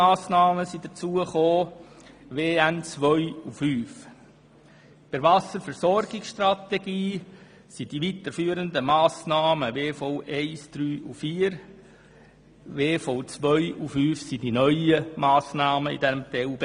Bei der Wasserversorgungsstrategie sind die weiterzuführenden Massnahmen WV-1, WV-3 und WV-4, die neuen umfassen WV-2 und WV-5.